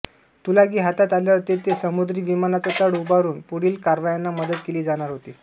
Tulagi हातात आल्यावर तेथे समुद्री विमानांचा तळ उभारुन पुढील कारवायांना मदत केली जाणार होती